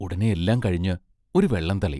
ഉടനെ എല്ലാം കഴിഞ്ഞ് ഒരു വെള്ളം തളി.